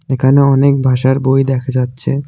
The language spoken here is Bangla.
এখানে অনেক ভাষার বই দেখা যাচ্ছে।